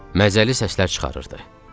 Məzəli səslər çıxarırdı.